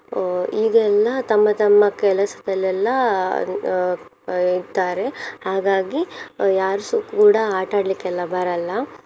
ಅಹ್ ಈಗ ಎಲ್ಲ ತಮ್ಮ ತಮ್ಮ ಕೆಲಸದಲ್ಲೆಲ್ಲ ಅಹ್ ಅಹ್ ಇರ್ತಾರೆ ಹಾಗಾಗಿ ಯಾರುಸ ಕೂಡ ಆಟಾಡ್ಲಿಕ್ಕೆಲ್ಲ ಬರಲ್ಲ.